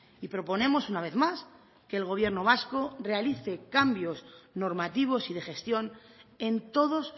y proponemos una vez más que el gobierno vasco realice cambios normativos y de gestión en todos